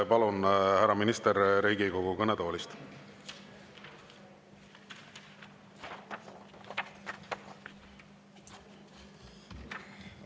Palun, härra minister, Riigikogu kõnetoolist!